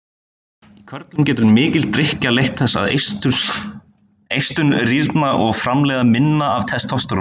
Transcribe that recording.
Í körlum getur mikil drykkja leitt þess að eistun rýrna og framleiða minna af testósteróni.